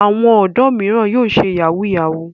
Àwọn ọ̀dọ́ mìíràn yóò ṣe yahoo yahoo.